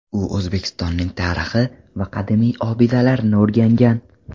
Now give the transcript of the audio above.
U O‘zbekistonning tarixi va qadimiy obidalarini o‘rgangan.